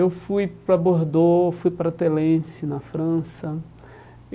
Eu fui para Bordeaux, fui para Telensi, na França.